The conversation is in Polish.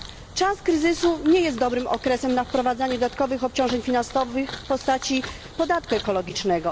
Czas kryzysu nie jest dobrym okresem na wprowadzanie dodatkowych obciążeń finansowych w postaci podatku ekologicznego.